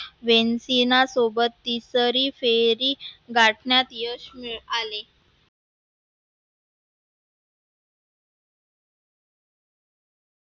वेन्टटीना सोबत तिसरी फेरी गाठन्यात यश मिळ आले.